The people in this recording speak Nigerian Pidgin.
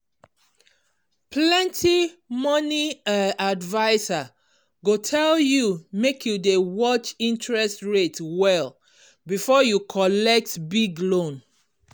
plenty money um adviser go tell you make you dey watch interest rate well before you collect big loan.